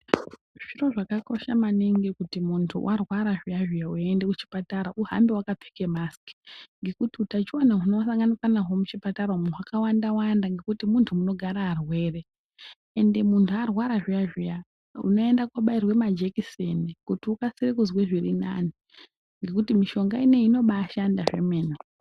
Zviro zvakakosha maningi kuti muntu warwara zviya-zviya weiende kuchipatara uhambe wakapfeke masiki. Ngekuti utachiwana hunosanganikwa nahwo muchipatara umu hwakawanda-wanda ngekuti munhu munogara arwere. Ende muntu arwara zviya-zviya unoenda kuobairwe majekiseni kuti ukasire kuzwe zvirinani. Ngekuti mishonga ineiyi inobaashanda zvemene.